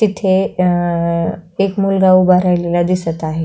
तिथे अ एक मुलगा उभा राहिलेला दिसत आहे.